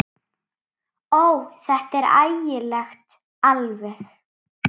Ó, þetta er ægilegt alveg.